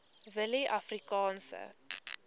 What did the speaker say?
willieafrikaanse